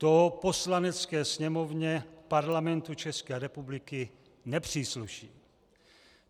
To Poslanecké sněmovně Parlamentu České republiky nepřísluší.